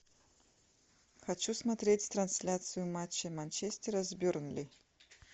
хочу смотреть трансляцию матча манчестера с бернли